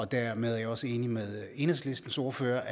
dermed er jeg også enig med enhedslistens ordfører